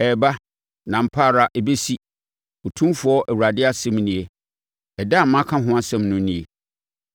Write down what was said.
Ɛreba! Na ampa ara ɛbɛsi, Otumfoɔ Awurade asɛm nie. Ɛda a maka ho asɛm no nie.